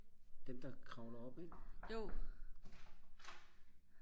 dem der kravler op ik